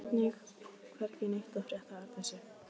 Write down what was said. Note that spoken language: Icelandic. Hvergi neitt að frétta af Arndísi.